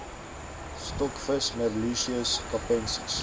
stokvis merluccius capensis